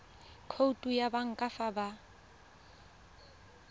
khoutu ya banka fa ba